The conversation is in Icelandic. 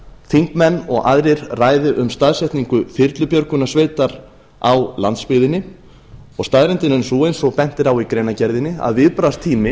þingmenn og aðrir ræði um staðsetningu þyrlubjörgunarsveitar á landsbyggðinni og staðreyndin er sú eins og bent er á í greinargerðinni að viðbragðstími